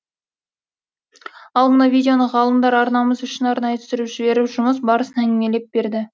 ал мына видеоны ғалымдар арнамыз үшін арнайы түсіріп жіберіп жұмыс барысын әңгімелеп берді